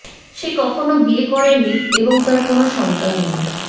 সে কখনো বিয়ে করেনি এবং তার কোন সন্তান নেই